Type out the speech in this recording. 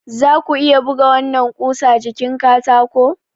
Za ku iya buga wannan ƙusa jikin katako?